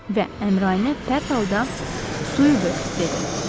Və Əmraəni pərt halda suyu böl, dedi.